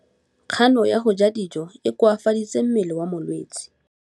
Kganô ya go ja dijo e koafaditse mmele wa molwetse.